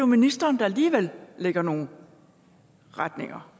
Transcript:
ministeren der alligevel lægger nogle retninger